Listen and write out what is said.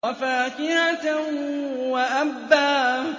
وَفَاكِهَةً وَأَبًّا